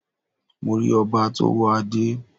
Mo rí ọba tó wọ Adẹ́